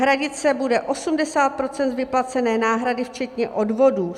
Hradit se bude 80 % z vyplacené náhrady včetně odvodů.